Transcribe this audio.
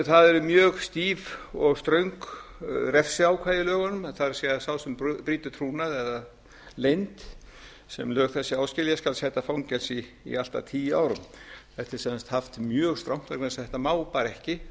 það eru mjög stíf og ströng refsiákvæði í lögunum það er að sá sem brýtur trúnað eða leynd sem lög þessi áskilja skal sæta fangelsi allt að tíu árum þetta er sem sagt haft mjög strangt vegna þess að þetta má bara ekki fara